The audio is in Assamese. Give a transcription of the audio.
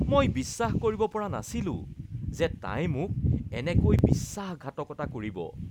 মই বিশ্বাস কৰিব পৰা নাছিলো যে তাই মোক এনেকৈ বিশ্বাসঘাতকতা কৰিব।